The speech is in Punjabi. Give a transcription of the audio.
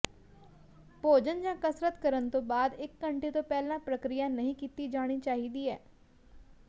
ਭੋਜਨ ਜਾਂ ਕਸਰਤ ਕਰਨ ਤੋਂ ਬਾਅਦ ਇਕ ਘੰਟੇ ਤੋਂ ਪਹਿਲਾਂ ਪ੍ਰਕਿਰਿਆ ਨਹੀਂ ਕੀਤੀ ਜਾਣੀ ਚਾਹੀਦੀ